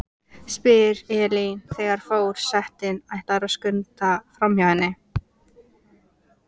spyr Elín þegar for- setinn ætlar að skunda framhjá henni.